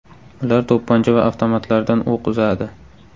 Ular to‘pponcha va avtomatlardan o‘q uzadi.